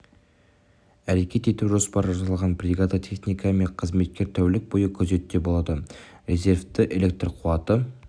әрекет ету жоспары жасалған бригада техника мен қызметкер тәулік бойы күзетте болады резервті электр қуаты